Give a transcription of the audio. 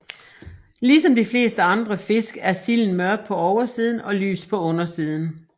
Ligesom de fleste andre fisk er silden mørk på oversiden og lys på undersiden